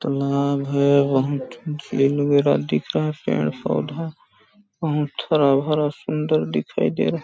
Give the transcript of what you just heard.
तालाब है बहुत झील वगैरह दिख रहा है पेड़ -पौधा बहुत हरा-भरा सुन्दर दिखाई दे रहा हैं ।